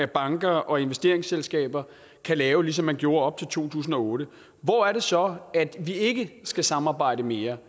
banker og investeringsselskaber kan lave ligesom man gjorde op til to tusind og otte hvor er det så vi ikke skal samarbejde mere